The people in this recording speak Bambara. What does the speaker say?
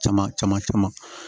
Caman caman caman